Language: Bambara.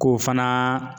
K'o fana